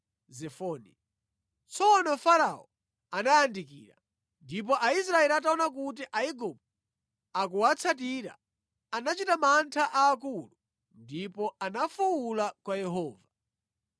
Tsono Farao anayandikira. Ndipo Aisraeli ataona kuti Aigupto akuwatsatira, anachita mantha aakulu ndipo anafuwula kwa Yehova.